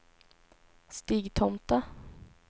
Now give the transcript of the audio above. Stigtomta